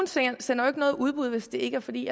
sender jo ikke noget i udbud hvis det ikke er fordi